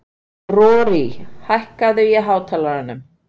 Rorí, hækkaðu í hátalaranum.